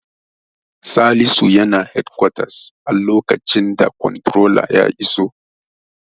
Salisu yana shalkwatar lokacin the komtirolan ya iso.